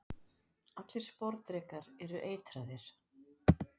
Allir sporðdrekar eru eitraðir.